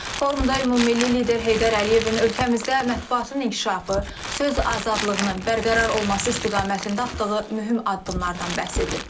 Forumda Ümummilli lider Heydər Əliyevin ölkəmizdə mətbuatın inkişafı, söz azadlığının bərqərar olması istiqamətində atdığı mühüm addımlardan bəhs edilib.